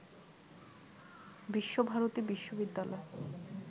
বিশ্বভারতী বিশ্ববিদ্যালয়